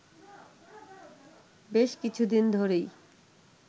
বেশ কিছুদিন ধরেই